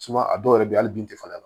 a dɔw yɛrɛ bɛ ye hali bin tɛ falen a la